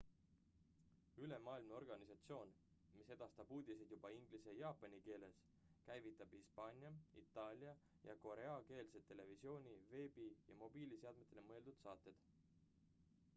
ülemaailmne organisatsioon mis edastab uudiseid juba inglise ja jaapani keeles käivitab hispaania itaalia ja koreakeelsed televisiooni- veebi- ja mobiilseadmetele mõeldud saated